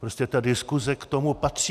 Prostě ta diskuse k tomu patří.